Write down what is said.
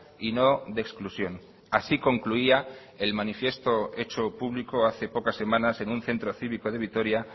y no de exclusión así concluía el manifiesto hecho público hace pocas semanas en un centro cívico de vitoria